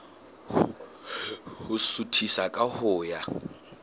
ho suthisa ka ho ya